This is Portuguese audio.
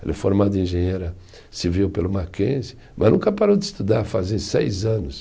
Ela é formada em engenheira civil pelo Mackenzie, mas nunca parou de estudar, fazem seis anos.